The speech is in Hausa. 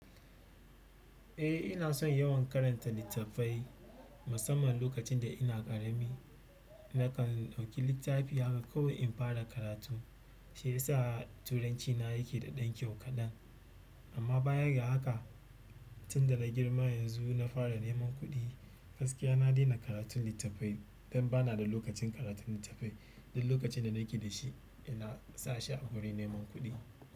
Eh ina son yawan karanta littafai musamman lokacin da ina ƙarami. Nakan ɗauki littafi haka kawai infara karatu. Shi ya sa turancina yake da ɗan kyau kaɗan. Amma bayaga haka tunda na girma yanzu na fara neman kuɗi. Gaskiya na daina karatun littafai don ba na da lokacin karatun littafai. Duk lokacin da nake da shi ina sa shi a wurin neman kuɗi.